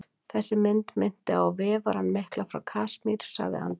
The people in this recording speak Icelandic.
Þessi mynd minnti mig á Vefarann mikla frá Kasmír, sagði Andri.